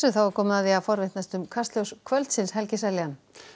þá er komið að því að forvitnast um Kastljós kvöldsins Helgi Seljan